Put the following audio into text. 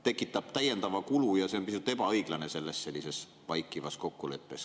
… tekitab täiendava kulu ja see on pisut ebaõiglane sellises vaikivas kokkuleppes.